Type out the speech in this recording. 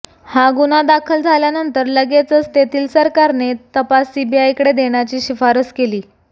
हा गुन्हा दाखल झाल्यानंतर लगेचच तेथील सरकारने तपास सीबीआयकडे देण्याची शिफारस केली